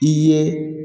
I ye